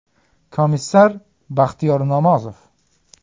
Komissar: Baxtiyor Namozov.